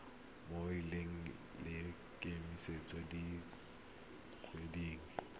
mo lenaneng la kemiso dikgwedi